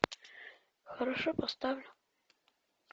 хорошо поставлю